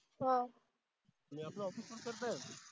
मी आपला Office करतोय